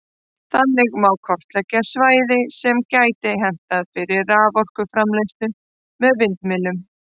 Þannig má kortleggja svæði sem gæti hentað fyrir raforkuframleiðslu með vindmyllum.